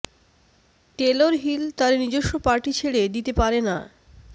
Taylor Hill তার নিজস্ব party ছেড়ে দিতে পারে না